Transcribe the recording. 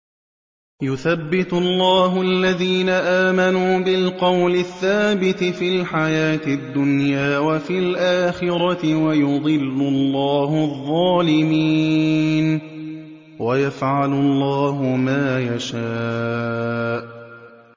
يُثَبِّتُ اللَّهُ الَّذِينَ آمَنُوا بِالْقَوْلِ الثَّابِتِ فِي الْحَيَاةِ الدُّنْيَا وَفِي الْآخِرَةِ ۖ وَيُضِلُّ اللَّهُ الظَّالِمِينَ ۚ وَيَفْعَلُ اللَّهُ مَا يَشَاءُ